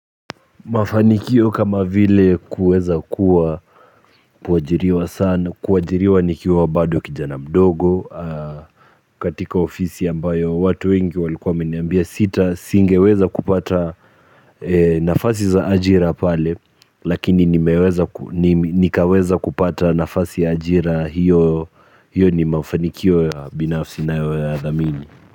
Mafanikio kama vile kuweza kuwa kuajiriwa sana kuajiriwa nikiwa bado kijana mdogo katika ofisi ambayo watu wengi walikuwa wameniambia sita singeweza kupata nafasi za ajira pale lakini nikaweza kupata nafasi ya ajira hiyo hiyo ni mafanikio ya binafsi ninayoyadhamini.